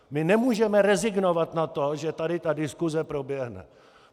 My nemůžeme rezignovat na to, že tady ta diskuse proběhne.